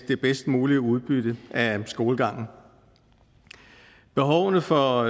det bedst mulige udbytte af skolegangen behovene for